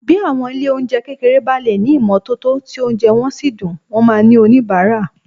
Bí àwọn ilé-oúnjẹ kékeré bá lè ní ìmọ́tótó tí oúnjẹ wọn sì dùn, wọn máa ní oníbàárà